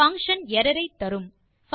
function error ஐ தரும்